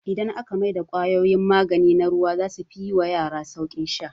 Idan aka mai da kwayoyin magani na ruwa zasu fi yi wa yara sauƙin sha